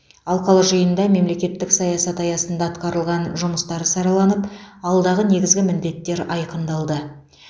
алқалы жиында мемлекеттік саясат аясында атқарылған жұмыстар сараланып алдағы негізгі міндеттер айқындалды